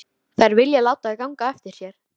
Þær vilja láta ganga eftir sér.